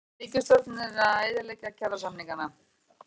Ríkisstjórnin að eyðileggja kjarasamningana